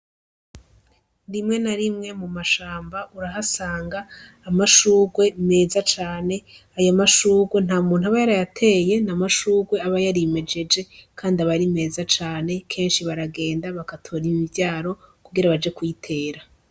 Rimwe na rimwe mu mashamba urahasanga amashurwe meza cane; ayo mashurwe nta muntu aba yarayateye, ni amashurwe aba yarimejeje kandi aba ari meza cane. Kenshi na kenshi baragenda bagatora imivyaro kugira baje kuyitera.